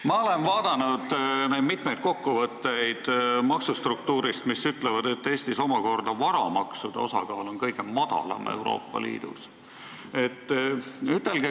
Ma olen vaadanud mitmeid kokkuvõtteid maksustruktuurist, mis ütlevad, et Eestis omakorda on varamaksude osakaal kõige väiksem Euroopa Liidus.